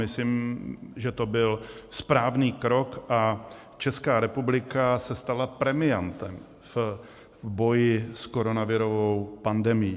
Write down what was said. Myslím, že to byl správný krok a Česká republika se stala premiantem v boji s koronavirovou pandemií.